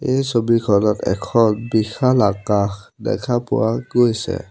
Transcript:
এই ছবিখনত এখন বিশাল আকাশ দেখা পোৱা গৈছে।